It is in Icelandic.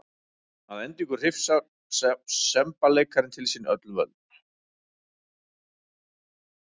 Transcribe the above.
Að endingu hrifsar semballeikarinn til sín öll völd.